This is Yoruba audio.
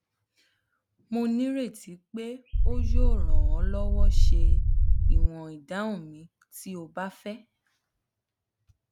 mo nireti pe o yoo ran ọ lọwọ ṣe iwọn idahun mi ti o ba fẹ